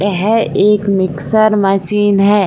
येह एक mixer machine है ।